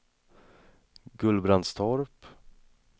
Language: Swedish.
Gullbrandstorp